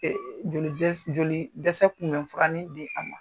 joli joli dɛsɛ kunmɛ furanin di a ma.